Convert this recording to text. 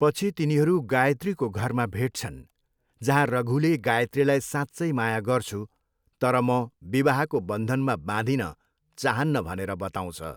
पछि तिनीहरू गायत्रीको घरमा भेट्छन् जहाँ रघुले गायत्रीलाई साँच्चै माया गर्छु तर म विवाहको बन्धनमा बाँधिन चाहान्न भनेर बताउँछ।